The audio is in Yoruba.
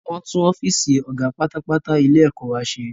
Wọ́n tún ọ́fìsì ọ̀gá pátápátá ilé ẹ̀kọ́ wa ṣe